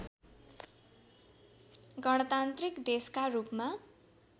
गणतान्त्रिक देशकारूपमा